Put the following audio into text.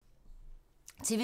TV 2